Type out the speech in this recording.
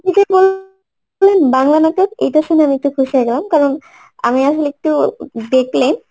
আপনি যে বাংলা নাটক এটা শুনে আমি একটু খুশি হয়ে গেলাম কারণ আমি আসলে একটু দেখলে